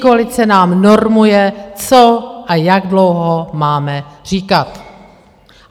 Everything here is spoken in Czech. Pětikoalice nám normuje, co a jak dlouho máme říkat.